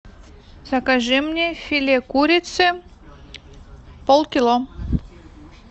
закажи мне филе курицы полкило